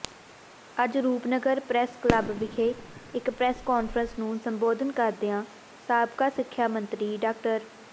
ਅੱਜ Rupnagar press club ਵਿਖੇ ਇਕ ਪ੍ਰਰੈੱਸ ਕਾਨਫਰੰਸ ਨੂੰ ਸੰਬੋਧਨ ਕਰਦਿਆਂ ਸਾਬਕਾ ਸਿੱਖਿਆ ਮੰਤਰੀ ਡਾ